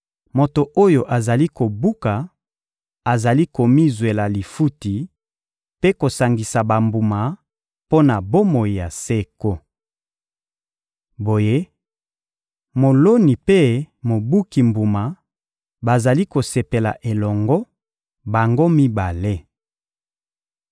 Moto oyo azali kobuka azali komizwela lifuti mpe kosangisa bambuma mpo na bomoi ya seko. Boye, moloni mpe mobuki mbuma bazali kosepela elongo, bango mibale.